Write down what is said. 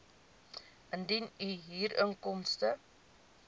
indien u huurinkomste